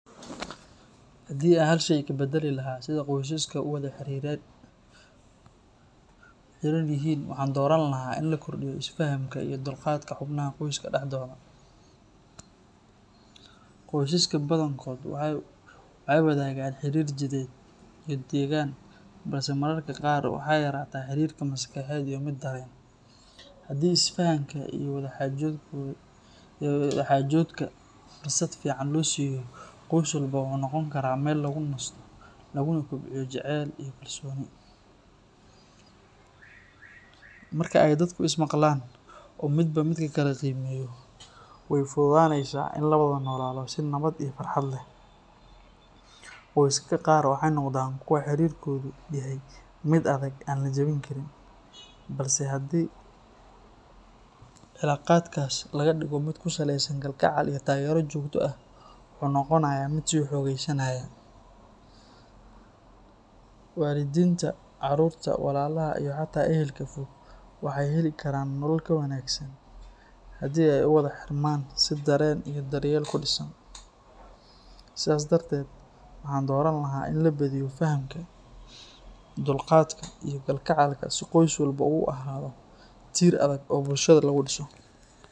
Haddii aan hal shay ka beddeli lahaa sida qoysaska u wada xiran yihiin, waxaan dooran lahaa in la kordhiyo isfahamka iyo dulqaadka xubnaha qoyska dhexdooda. Qoysaska badankood waxay wadaagaan xiriir jidheed iyo degaan balse mararka qaar waxaa yaraata xiriirka maskaxeed iyo mid dareen. Haddii isfahamka iyo wada-xaajoodka fursad fiican loo siiyo, qoys walba wuxuu noqon karaa meel lagu nasto laguna kobciyo jacayl iyo kalsooni. Marka ay dadku is maqlaan oo midba midka kale qiimeeyo, way fududaaneysaa in la wada noolaado si nabad iyo farxad leh. Qoysaska qaar waxay noqdaan kuwo xiriirkoodu yahay mid adag oo aan la jebin karin, balse haddii cilaaqaadkaas laga dhigo mid ku saleysan kalgacal iyo taageero joogto ah, wuxuu noqonayaa mid sii xoogeysanaya. Waalidiinta, caruurta, walaalaha iyo xataa ehelka fog waxay heli karaan nolol ka wanaagsan haddii ay u wada xirmaan si dareen iyo daryeel ku dhisan. Sidaas darteed, waxaan dooran lahaa in la badiyo fahamka, dulqaadka, iyo kalgacalka si qoys walba uu u ahaado tiir adag oo bulshada lagu dhiso.